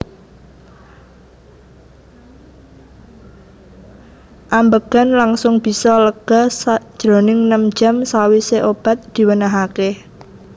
Ambegan langsung bisa lega sajroning nem jam sawise obat diwenehake